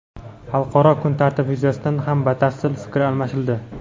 Xalqaro kun tartibi yuzasidan ham batafsil fikr almashildi.